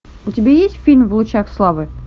у тебя есть фильм в лучах славы